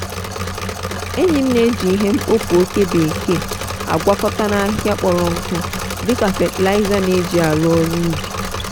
enyi m na-eji ihe mkpofu oke bekee agwakọta na ahịhịa kpọrọ nkụ dị ka fatịlaịza n'eji aru oru ubi.